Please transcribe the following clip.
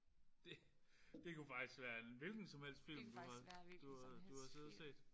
Det det kunne faktisk være en hvilken som helst film du har du har du har siddet og set